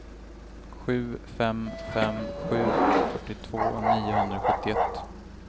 sju fem fem sju fyrtiotvå niohundrasjuttioett